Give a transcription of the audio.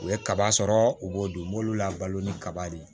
U ye kaba sɔrɔ u b'o dun u b'olu labalo ni kaba de ye